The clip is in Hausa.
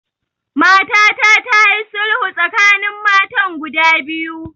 Matata ta yi sulhu tsakanin matan guda biyu